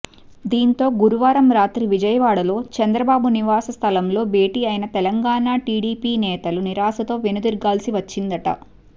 దీంతో గురువారం రాత్రి విజయవాడలో చంద్రబాబు నివాస స్థలంలో భేటీ అయిన తెలంగాణ టీడీపీ నేతలు నిరాశతో వెనుదిరగాల్సి వచ్చిందట